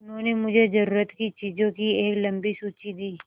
उन्होंने मुझे ज़रूरत की चीज़ों की एक लम्बी सूची दी